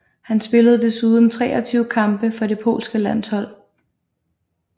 Han spillede desuden 23 kampe for det polske landshold